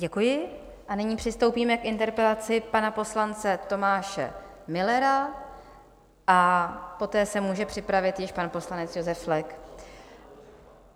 Děkuji a nyní přistoupíme k interpelaci pana poslance Tomáše Müllera a poté se může připravit již pan poslanec Josef Flek.